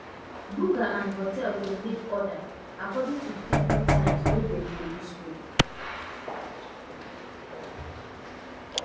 buka and hotel dey make order um according to di difrent times wey dem dey use cook